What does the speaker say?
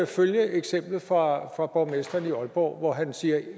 følge eksemplet fra fra borgmesteren i aalborg hvor han siger at